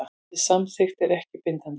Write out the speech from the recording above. Þessi samþykkt er ekki bindandi